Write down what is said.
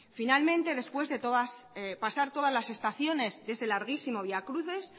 finalmente después de pasar todas las estaciones de ese larguísimo vía crucis